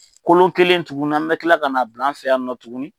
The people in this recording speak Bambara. Kolon kelen tuguni an bɛ kila ka na bila an fɛ yan nɔ tuguni